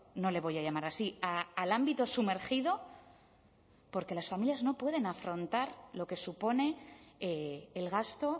no le voy a llamar así al ámbito sumergido porque las familias no pueden afrontar lo que supone el gasto